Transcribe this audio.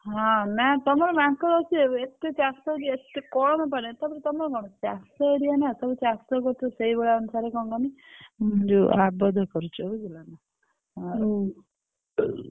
ହଁ, ନା ତମର ମାଙ୍କଡ ଅଛି ଏବେ ଏତେ ଚାଷ ହଉଛି ଏତେ ତାପରେ ତମର କଣ ଚା ଷ area ନା ସବୁ ଚାଷ କରୁଛ ସେଇ ଭଳିଆ ଅନୁସାରେ କଣ କହନି ଯୋଉ ଆବଦ୍ଧ କରୁଛ ବୁଝିଲ ନା ଆଉ।